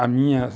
A minha...